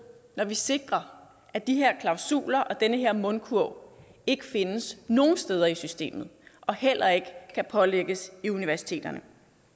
når vi sikrer at de her klausuler og den her mundkurv ikke findes nogen steder i systemet og heller ikke kan pålægges universiteterne